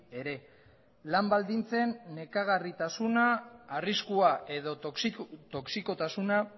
ere lan baldintzen nekagarritasuna arriskua edo toxikotasuna